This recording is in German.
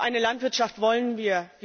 Was für eine Landwirtschaft wollen wir?